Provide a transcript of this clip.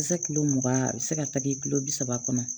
Se kilo mugan a bɛ se ka tagi kilo bi saba kɔnɔ